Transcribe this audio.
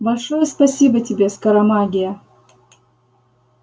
большое спасибо тебе скоромагия